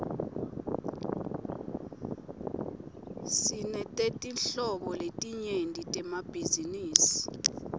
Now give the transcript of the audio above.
sinetetinhlobo letinyenti temabhizinisi